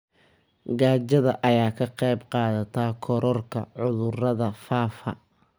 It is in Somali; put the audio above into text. Gaajada ayaa ka qayb qaadata kororka cudurrada faafa.